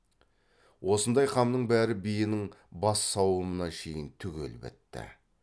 осындай қамның бәрі биенің бас сауымына шейін түгел бітті